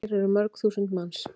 Hér eru mörg þúsund manns.